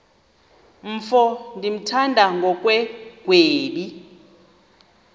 mfo ndimthanda ngokungagwebi